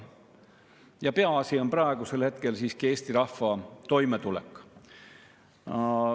Ja peaasi on praegusel hetkel siiski Eesti rahva toimetulek.